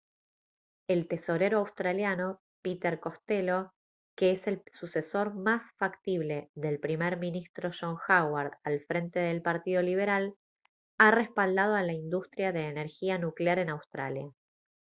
el tesorero australiano peter costello que es el sucesor más factible del primer ministro john howard al frente del partido liberal ha respaldado a la industria de energía nuclear en australia